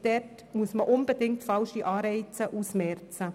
Hier müssen unbedingt falsche Anreize ausgemerzt werden.